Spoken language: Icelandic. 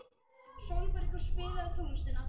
Sólbergur, spilaðu tónlist.